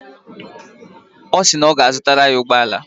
Ọ sị na ọ ga-azụtara ya ụgbọala